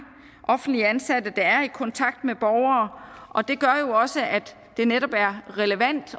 offentligt ansatte der er i kontakt med borgere og det gør jo også at det netop er relevant